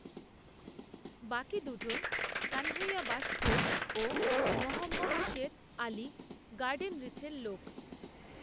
বাকি দুজন কানহাইয়া বাশফোড় ও মহম্মদ শের আলি গার্ডেনরিচের লোক